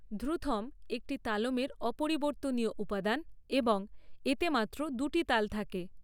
ধ্রুথম একটি তালমের অপরিবর্তনীয় উপাদান এবং এতে মাত্র দুটি তাল থাকে।